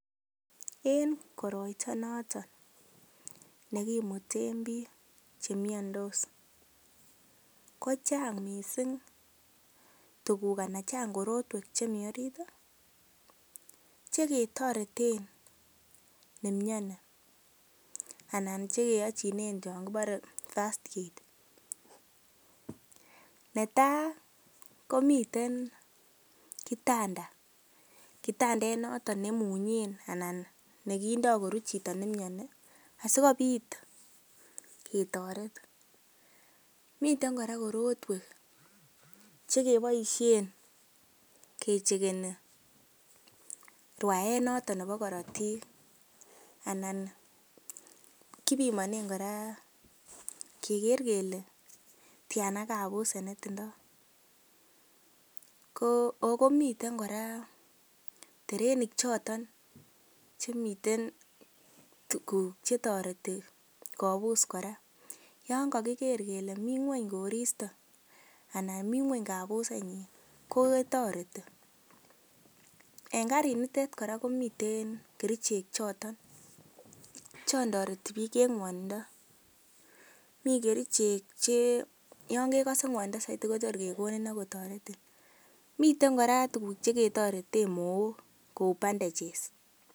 En koroito noto nekimuten biik che miandos kochang mising tuguk anan chang korotwek chemi orit cheketoreten ne miani anan che keyochinen chon kibore first aid. Netai komiten kitanda kitandet noto neimung'en anan nekindo kuruen chito noto ne miani asikobit ketoret. Miten kora korotwek che keboisien kecheckeni rwaet noto nebo korotik anan kibimonen kora keger kele tyana koritk che tindo. Ago miten kora ternik choto che toreti kobus kora yon kagiker kele mi ngweny koristo anan mi ngweny kabusenyin kotoreti. En karinitet kora komi kerichek choto che toreti biik en ng'wonindo, mi kerichek che yon kegose ng'wonindo soiti kotor kegonin ago toretin. Miten kora tuguk che ketoreten mook kou bandages.